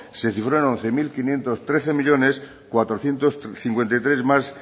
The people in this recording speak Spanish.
se cifró en once mil quinientos trece millónes cuatrocientos cincuenta y tres más